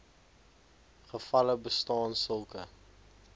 gevalle bestaan sulke